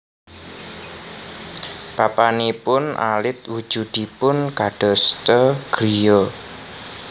Papanipun alit wujudipun kadosta griya